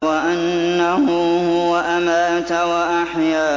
وَأَنَّهُ هُوَ أَمَاتَ وَأَحْيَا